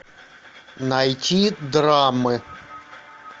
найти драмы